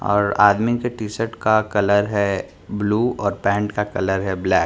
और आदमी के टी-शर्ट का कलर है ब्लू और पैंट का कलर है ब्लैक --